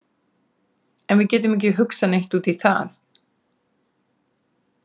En við getum ekki hugsað neitt út í það.